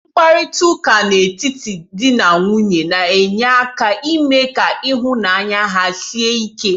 Mkparịtaụka n'etiti dị na nwunye na-enye aka ime ka ịhụnanya ha sie ike.